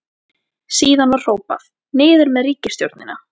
Síðan var hrópað: Niður með ríkisstjórnina!